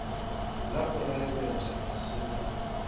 la poraebete ga se ba